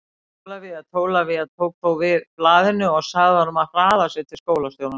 Ólafía Tólafía tók þó við blaðinu og sagði honum að hraða sér til skólastjórans.